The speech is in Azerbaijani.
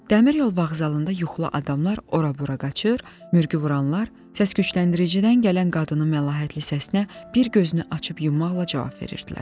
Dəmir yol vağzalında yuxulu adamlar ora-bura qaçır, mürgü vuranlar səskücləndiricidən gələn qadının məlahətli səsinə bir gözünü açıb yummaqla cavab verirdilər.